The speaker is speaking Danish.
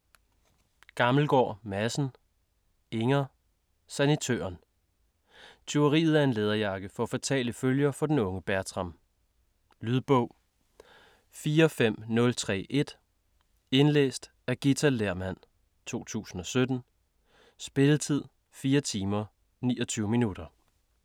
Gammelgaard Madsen, Inger: Sanitøren Tyveriet af en læderjakke får fatale følger for den unge Bertram. Lydbog 45031 Indlæst af Ghita Lehrmann, 2017. Spilletid: 4 timer, 29 minutter.